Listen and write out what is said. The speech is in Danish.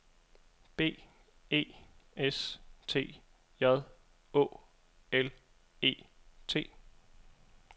B E S T J Å L E T